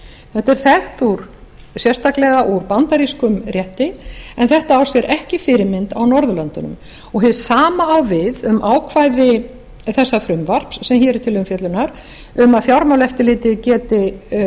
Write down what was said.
þetta er þekkt sérstaklega úr bandarískum rétti en þetta á sér ekki fyrirmynd á norðurlöndunum hið sama á við um ákvæði þessa frumvarps sem hér er til umfjöllunar um að fjármálaeftirlitið geti